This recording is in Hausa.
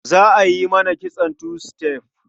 Za a yi mata kitson two step.